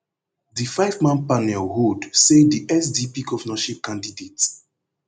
di fiveman panel hold say di sdp govnorship candidate